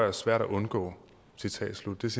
er svært at undgå